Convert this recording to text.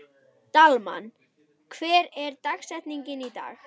Dalmann, hver er dagsetningin í dag?